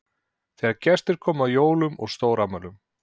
Þegar gestir komu eða á jólum og stórafmælum.